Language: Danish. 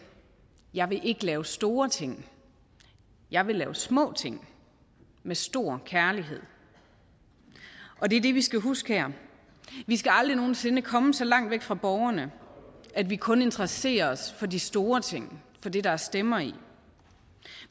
jeg vil ikke lave store ting jeg vil lave små ting med stor kærlighed og det er det vi skal huske her vi skal aldrig nogen sinde komme så langt væk fra borgerne at vi kun interesserer os for de store ting for det der er stemmer i